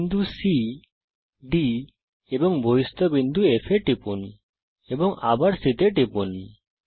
বিন্দু C D এবং বহিস্থিত বিন্দু F এ টিপুন এবং আবার C তে টিপুন